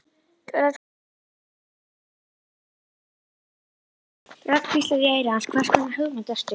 Rödd hvíslar í eyra hans: Hvers konar hugmynd ertu?